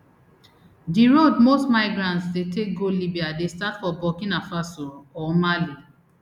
di road most migrants dey take go libya dey start for burkina faso or mali